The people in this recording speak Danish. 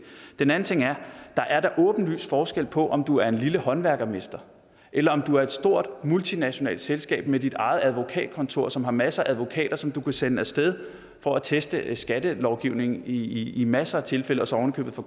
den anden ting der er da åbenlys forskel på om du er en lille håndværksmester eller om du er et stort multinationalt selskab med dit eget advokatkontor som har masser af advokater som du kan sende af sted for at teste skattelovgivningen i i masser af tilfælde og så ovenikøbet få